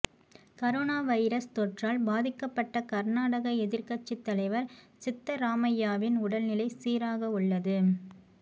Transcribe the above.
corona virus தொற்றால் பாதிக்கப்பட்ட கர்நாடக எதிர்க்கட்சித் தலைவர் சித்தராமையாவின் உடல்நிலை சீராக உள்ளது